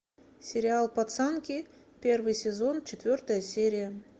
сериал пацанки первый сезон четвертая серия